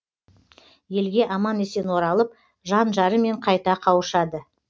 елге аман есен оралып жан жарымен қайта қауышады